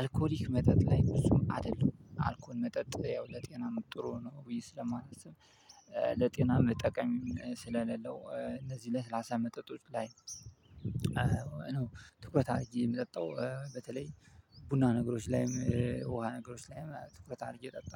አልኮሊክ መጠጥ ላይ ብዙም አይደለውም አልኮል መጠጥ ያው ለጤናም ጥሩ ነው ብዬ ስለማላስብ። ለጤና መጠቀም ስለሌለው እነዚህ ለስላሳ መጠጦች ላይ ትኩረት አድርጌ የምጠጣው። በተለይ ቡና ነገሮች ላይም ውሃ ነገሮች ላይም ትኩረት አድርጌ ጠጣለሁ